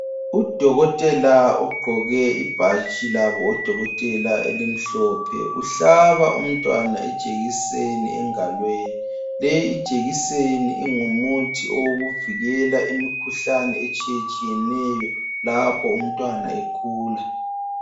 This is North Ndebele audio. Udokotela ugqoke ibhatshi labo odokotela elimhlophe uhlaba umntwana ijekiseni engalweni .Le ijekiseni ingumuthi owokuvikela imikhuhlane etshiyetshiyeneyo lapho umntwana ekhula